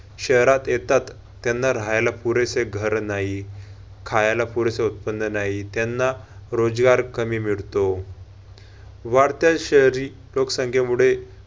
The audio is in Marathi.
शहरात येतात त्यांना राहायला पुरेसे घर नाही, खायाला पुरेसे उत्पन्न नाही त्यांना रोजगार कमी मिळतो. वाढत्या शहरी लोकसंख्यामुळे